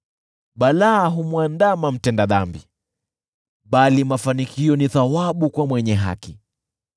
Balaa humwandama mtenda dhambi, bali mafanikio ni thawabu kwa mwenye haki.